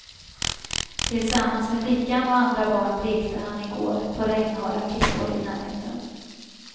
Tillsammans med flickan och andra barn lekte han i går på regnhala klippor i närheten.